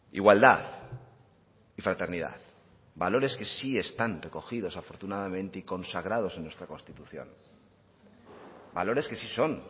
igualdad y fraternidad valores que sí están recogidos afortunadamente y consagrados en nuestra constitución valores que sí son